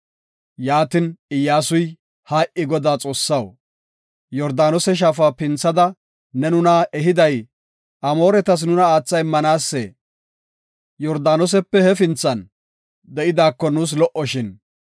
Yaatin, Iyyasuy, “Hay7i Godaa Xoossaw, Yordaanose shaafa pinthada ne nuna ehiday Amooretas nuna aatha immanaasee? Yordaanosepe hefinthan de7idaako nuus lo77oshin.